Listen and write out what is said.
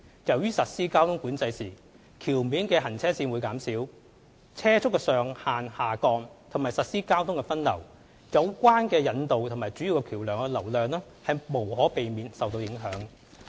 由於實施交通管制時橋面行車線減少、車速上限下降及實施交通分流，有關引道和主要橋樑的流量無可避免會受到影響。